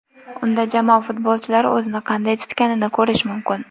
Unda jamoa futbolchilari o‘zini qanday tutganini ko‘rish mumkin.